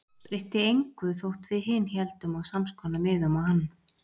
Breytti engu þótt við hin héldum á samskonar miðum og hann.